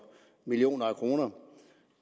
millioner af kroner